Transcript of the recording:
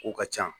Kow ka ca